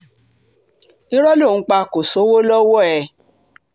irọ́ ló ń pa kò sówó lọ́wọ́ ẹ̀